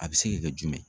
A bɛ se ka kɛ jumɛn